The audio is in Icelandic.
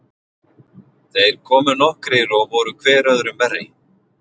Þeir komu nokkrir og voru hver öðrum verri.